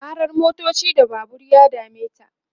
karar motoci da Babur ya dameta